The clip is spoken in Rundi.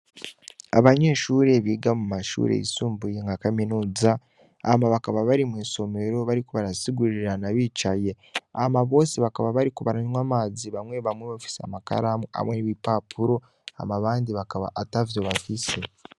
Abanyeshure biga mu mashure y'isumbuye nka kaminuza, aba bakaba bari mw'isomero bariko barasigurirana bicaye, hama bose bakaba bariko baranywa amazi, bamwe bamwe bafise amakaramu hamwe n'ibipapuro, hama abandi bakaba atavyo bafise.